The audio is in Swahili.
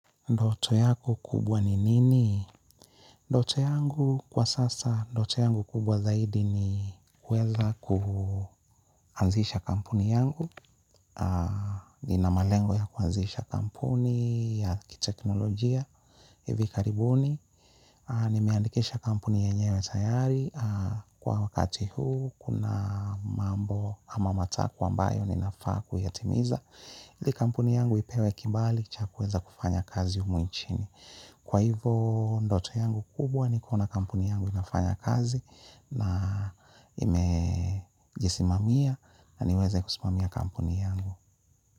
Ndoto yako kubwa ni nini? Ndoto yangu kwa sasa, ndoto yangu kubwa zaidi ni kuweza kuanzisha kampuni yangu. Nina malengo ya kuanzisha kampuni ya kiteknolojia hivi karibuni. Nimeandikisha kampuni yenyewe tayari. Kwa wakati huu kuna mambo ama matakwa ambayo ninafaa kuyatimiza. Ili kampuni yangu ipewe kibali cha kuweza kufanya kazi humu nchini. Kwa hivo ndoto yangu kubwa nikuona kampuni yangu inafanya kazi na imejisimamia na niweze kusimamia kampuni yangu.